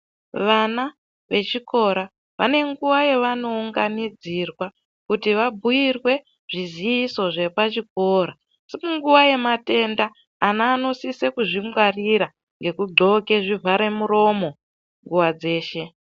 Vana vechikora vane nguwa yavanounganidzirwa kuti vabhuyirwe zviziisi zvepachikora asi muguwa yemathenda ana anosise kuzvingwarira ngekudxoke zvivharemuromo nguwa dzeshe.